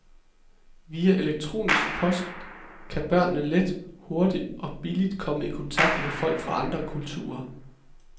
Via elektronisk post kan børnene let, hurtigt og billigt komme i kontakt med folk fra andre kulturer.